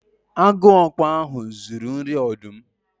Agu okpo ahu zuru nri ọdụm